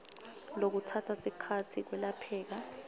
lokutsatsa sikhatsi kwelapheka